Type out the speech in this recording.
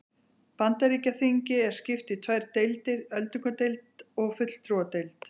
Bandaríkjaþingi er skipt í tvær deildir, öldungadeild og fulltrúadeild.